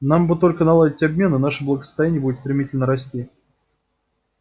нам бы только наладить обмен и наше благосостояние будет стремительно расти